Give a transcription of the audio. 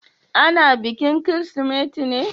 Ana bikin Kirsimeti ne?